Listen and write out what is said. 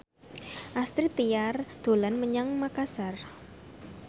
Astrid Tiar dolan menyang Makasar